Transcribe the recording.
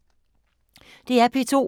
DR P2